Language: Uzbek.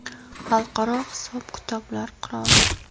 Xalqaro hisob-kitoblar qiroli.